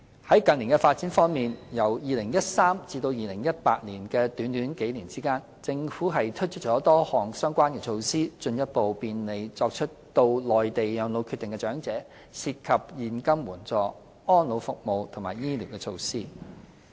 在近年發展方面，由2013年至2018年的短短數年間，政府推出了多項相關措施，進一步便利作出到內地養老決定的長者，涉及現金援助、安老服務及醫療措施。